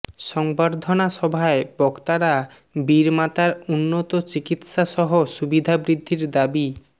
সংবর্ধনা সভায় বক্তারা বীরমাতার উন্নত চিকিৎসাসহ সুবিধা বৃদ্ধির দাবি